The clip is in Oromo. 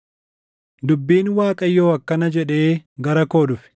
Dubbiin Waaqayyoo akkana jedhee gara koo dhufe: